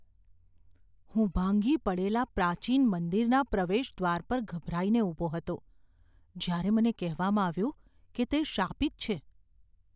હું ભાંગી પડેલા પ્રાચીન મંદિરના પ્રવેશદ્વાર પર ગભરાઈને ઊભો હતો જ્યારે મને કહેવામાં આવ્યું કે તે શાપિત છે.